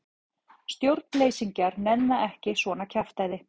Stjórnleysingjar nenna ekki svona kjaftæði.